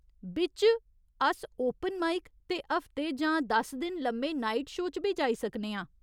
बिच्च, अस open mic ते हफ्ते जां दस दिन लम्मे नाइट शो च बी जाई सकने आं।